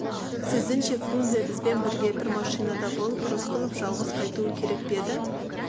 сіздіңше фрунзе бізбен бірге бір машинада болып рысқұлов жалғыз қайтуы керек пе еді